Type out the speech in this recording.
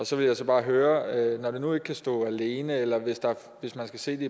så vil jeg bare høre når det nu ikke kan stå alene eller hvis man skal se det